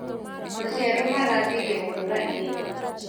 Maciaro marambirie gũkũra ihenya.